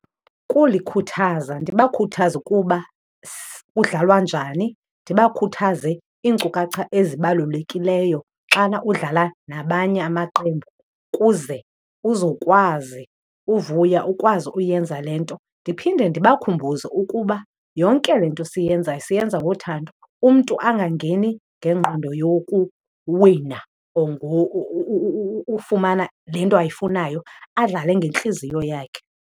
Kulikhuthaza ndibakhuthaze ukuba kudlalwa njani, ndibakhuthaze iinkcukacha ezibalulekileyo xana udlala nabanye amaqembu kuze uzokwazi uvuya ukwazi uyenza le nto. Ndiphinde ndibakhumbuze ukuba yonke le nto siyenzayo siyenza ngothando, umntu angangeni ngengqondo yokuwina or ufumana le nto ayifunayo, adlale ngentliziyo yakhe.